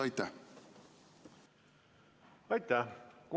Aitäh!